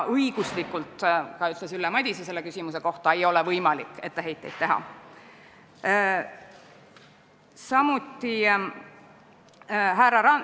Õiguslikult ei ole võimalik etteheiteid teha, nagu ütles ka Ülle Madise selle küsimuse kohta.